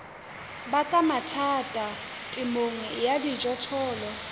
baka mathata temong ya dijothollo